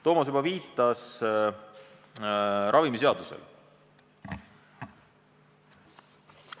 Toomas juba viitas ravimiseadusele.